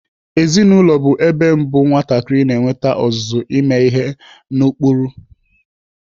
Ezinaụlọ bụ ebe mbụ nwatakịrị na-enwete ọzụzụ ime ihe n'ụkpụrụ.